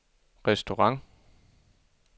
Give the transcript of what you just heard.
restaurant